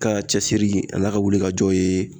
Ka cɛsiri ale ka wuli ka jɔ yen